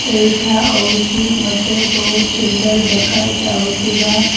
ଏଇଟା ହୋଉଛି ଗୋଟେ ବହୁତ ସୁନ୍ଦର ଦେଖାଯାଉଥିବା --